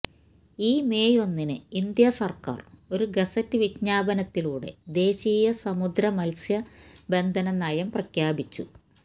ഈ മേയ് ഒന്നിന് ഇന്ത്യാസർക്കാർ ഒരു ഗസറ്റ് വിജ്ഞാപനത്തിലൂടെ ദേശീയ സമുദ്ര മത്സ്യബന്ധനനയം പ്രഖ്യാപിച്ചു